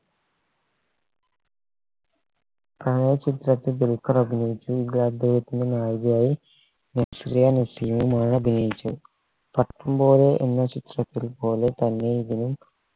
ചിത്രത്തിൽ ദുൽഖർ അഭിനയിച്ചു ഇതദ്ദേഹത്തിൻറെ നായികയായി നസ്രിയ നസീമുമാണ് അഭിനയിച്ചത് പട്ടം പോലെ എന്ന ചിത്രത്തിൽ പോലെ തന്നെ ഇതിനും